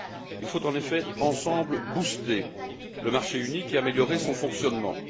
Il faut, en effet, ensemble booster le marché unique et améliorer son fonctionnement.